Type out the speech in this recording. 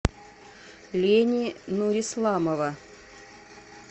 лени нурисламова